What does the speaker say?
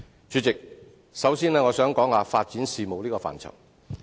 主席，首先我想談談發展事務這個範疇。